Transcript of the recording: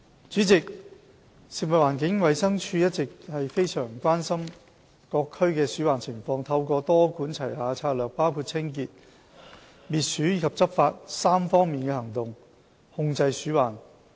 主席，食物環境衞生署一向十分關心各區的鼠患情況，透過多管齊下的策略，包括清潔、滅鼠及執法3方面的行動，防治鼠患。